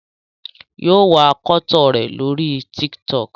yíò wá akọtọ rẹ lórí TikTok